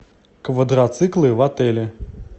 квадроциклы в отеле